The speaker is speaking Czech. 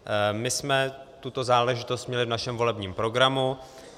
My jsme tuto záležitost měli v našem volebním programu.